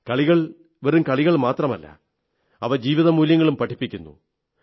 കളികൾ വെറും കളികൾ മാത്രമല്ല അവ ജീവിതമൂല്യങ്ങളും പഠിപ്പിക്കുന്നു